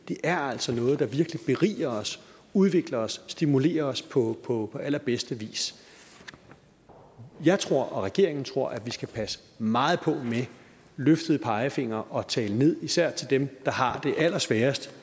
det er altså noget der virkelig beriger os udvikler os stimulerer os på på allerbedste vis jeg tror og regeringen tror at vi skal passe meget på med løftede pegefingre og at tale ned især dem der har det allersværest